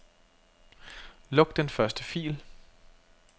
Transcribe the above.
Luk den første fil.